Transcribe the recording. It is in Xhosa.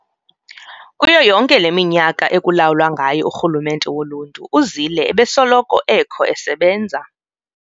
Kuyo yonke leminyaka ekulawula ngayo urhulumente woluntu, uZille ebesoloko ekho esebenza.